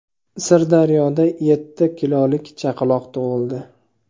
Sirdaryoda yetti kilolik chaqaloq tug‘ildi.